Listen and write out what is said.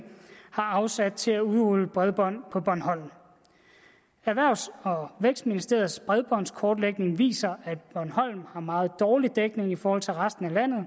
har afsat til at udrulle bredbånd på bornholm erhvervs og vækstministeriets bredbåndskortlægning viser at bornholm har meget dårlig dækning i forhold til resten af landet